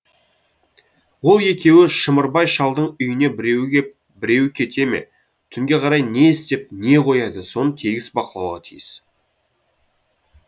ол екеуі шымырбай шалдың үйіне біреу кеп біреу кете ме түнге қарай не істеп не қояды соны тегіс бақылауға тиіс